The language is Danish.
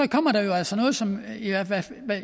kommer der jo altså noget som